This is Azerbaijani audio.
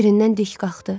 Yerindən dik qalxdı.